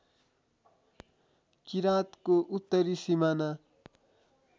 किराँतको उत्तरी सिमाना